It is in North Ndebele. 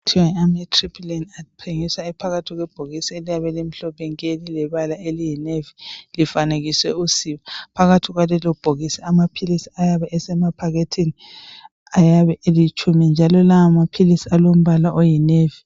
Ama Amitriptyline athengiswa ephakathi kwebhokisi eliyabe limhlophe nke lilebala eliyinevi lifanekiswe usiba. Phakathi kwalelobhokisi amaphilisi ayabe esemaphakethini ayabe elitshumi njalo lawomaphilisi alembala oyinevi.